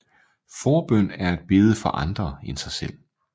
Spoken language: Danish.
Forbøn er at bede for andre end sig selv